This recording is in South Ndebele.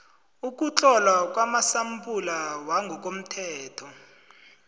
ukuhlolwa kwamasampula wangokomthetho